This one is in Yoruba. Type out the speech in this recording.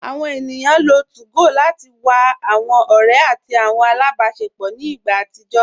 Awọn ènìyàn lọ́ 2gò láti wà awọn ọ̀rẹ̀ àti awọn alábásẹpọ̀ ní ìgbà àtìjọ